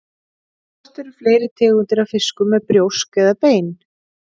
Hvort eru fleiri tegundir af fiskum með brjósk eða bein?